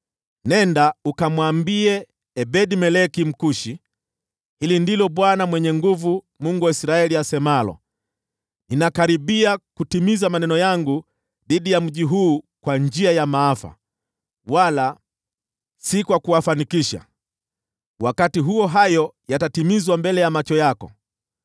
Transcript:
“Nenda ukamwambie Ebed-Meleki Mkushi, ‘Hili ndilo Bwana Mwenye Nguvu Zote, Mungu wa Israeli, asemalo: Ninakaribia kutimiza maneno yangu dhidi ya mji huu kwa njia ya maafa, wala si kwa kuwafanikisha. Wakati huo hayo yatatimizwa mbele ya macho yako.